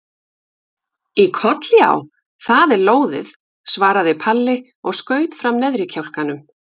Í koll já, það er lóðið, svaraði Palli og skaut fram neðri kjálkanum.